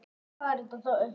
Öll þessi ár?